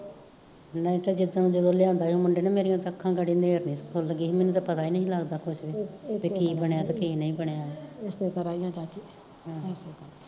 ਨਹੀਂ ਤਾਂ ਜਿਦਾਂ ਜਦ ਲਿਆਂਦਾ ਸੀ ਮੁੰਡੇ ਨੇ ਮੇਰਿਆ ਤਾਂ ਅੱਖਾਂ ਗਾੜੀ ਨੇਰਨੀ ਫੁੱਲ ਗਈਆ ਸੀ ਮੈਨੂੰ ਤਾਂ ਪਤਾ ਈ ਨੀ ਲੱਗਦਾ ਸੀ ਕੁਸ਼, ਕੀ ਬਣਿਆ ਤੇ ਕੀ ਨਹੀਂ ਬਣਿਆ ਏਹ